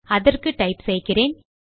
அதற்கு டைப் செய்கிறேன்